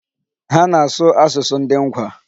Ha na-asụ asụsụ ndị Ngwa.